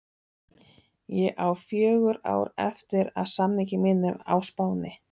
Ég á fjögur ár eftir af samningi mínum á Spáni.